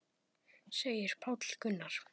segir Páll Gunnar.